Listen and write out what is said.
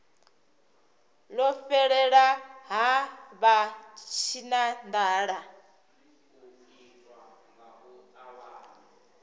ḽo fhelela ha vha tshinanḓala